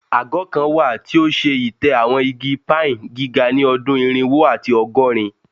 Agọ kan wa ti o ṣe itẹ awọn igi pine giga ni ọdun irinwo ati ọgọrin